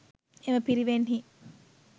එම පිරිවෙන්හි